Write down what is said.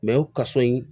kaso in